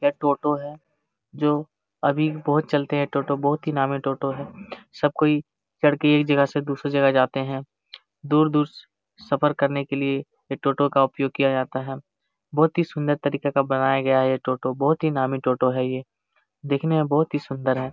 ये टोटो है जो अभी भी बहुत चलते है टोटो । बहुत ही नामी टोटो है। सब कोई चढ़के एक जगह से दूसरे जगह जाते है। दूर-दूर सफर करने के लिए ये टोटो का उपयोग किया जाता। है बहुत ही सुंदर तरीके का बनाया गया है ये टोटो । बहुत ही नामी टोटो है। ये दिखने में बहुत ही सुंदर है।